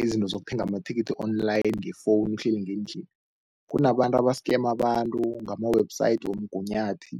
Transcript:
izinto zokuthenga amathikithi online ngefowunu uhleli ngendlini. Kunabantu aba-scam abantu ngama-website womgunyathi,